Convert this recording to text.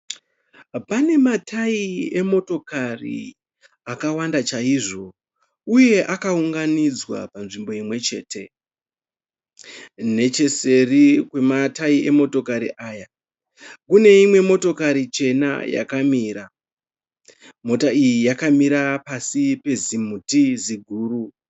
Pane matayi emotokari akawanda chaizvo. Uye akawunganidzwa munzvimbo imwe chete. Necheseri kwematayi emotokari aya kune imwe motokari yakamira, motokari iyi yakamira pasi pezimuti ziguru.